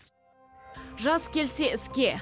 жас келсе іске